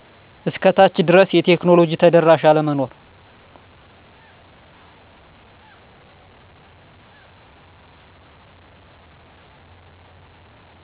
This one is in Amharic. እስከ ታች ድረስ የቴክኖሎጂ ተደራሽ አለመኖር